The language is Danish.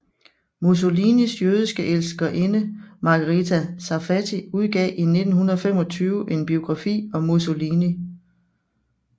Mussolinis jødiske elskerinde Margherita Sarfatti udgav i 1925 en biografi om Mussolini